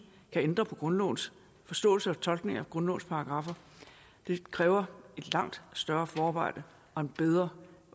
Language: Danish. kan ændre på grundlovens forståelse og tolkningen af grundlovens paragraffer det kræver et langt større forarbejde og en bedre